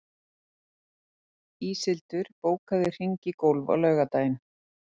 Íshildur, bókaðu hring í golf á laugardaginn.